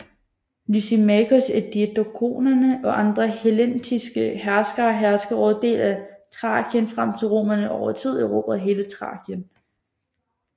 Lysimakos af diadokerne og andre hellenistiske herskere herskede over dele af Thrakien frem til romerne over tid erobrede hele Thrakien